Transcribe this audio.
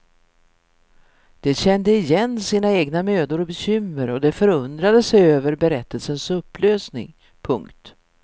De kände igen sina egna mödor och bekymmer och de förundrade sig över berättelsens upplösning. punkt